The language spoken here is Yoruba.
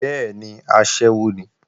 Bẹ́ẹ̀ni, aṣẹ́wó ni